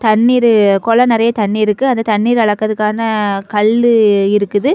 தண்ணீரு கொலம் நறைய தண்ணீ இருக்குது அந்த தண்ணீர் அளக்குறதுக்கான கள்ளு இருக்குது.